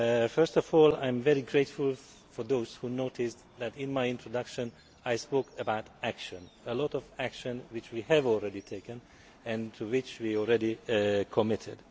First of all, I am very grateful to those who noticed that in my introduction I spoke about action many actions which we have already taken and to which we are already committed.